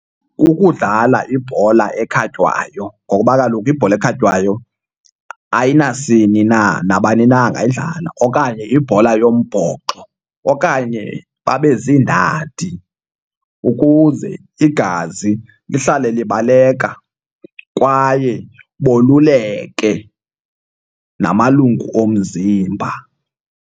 Kukudlala ibhola ekhatywayo ngoba kaloku ibhola ekhatywayo ayinasini na, nabani na angayidlala, okanye ibhola yombhoxo. Okanye babe ziiindadi ukuze igazi lihlale libaleka kwaye boluleke namalungu omzimba.